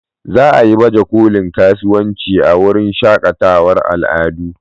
Za a yi bajekolin kasuwanci a wurin shakatawar al'adu.